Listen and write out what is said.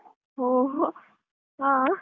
ಓಹೋ ಹ.